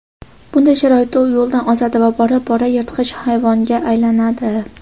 bunday sharoitda u yo‘ldan ozadi va bora-bora yirtqich hayvonga aylanadi.